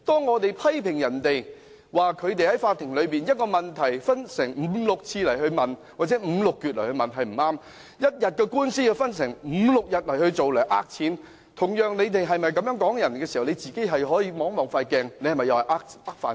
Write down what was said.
他們批評別人在法庭內把一個問題分開五六次或五六截來問是不恰當，一天的官司要分五六天進行來騙錢，他們同時也可以照一照鏡子，看看他們自己又是否在騙飯吃？